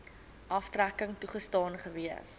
aftrekking toegestaan gewees